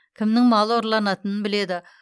кімнің малы ұрланатынын біледі